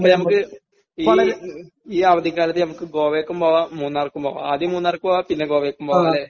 അപ്പോൾ നമുക്ക് ഈ ഈ അവധിക്കാലത്ത് നമുക്ക് ഗോവക്കും പോകാം മൂന്നാർക്കും പോകാം. ആദ്യം മൂന്നാർക്കും പോകാം പിന്നെ ഗോവക്കും പോകാം. അല്ലെ?